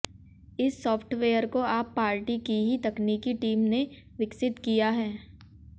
इस साफ्टवेयर को आप पार्टी की ही तकनीकी टीम ने विकसित किया है